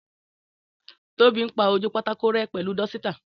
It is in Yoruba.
Tóbi ń pá ojú pátákó rẹ́ pẹ̀lu dúsítà